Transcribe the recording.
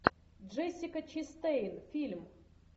джессика честейн фильм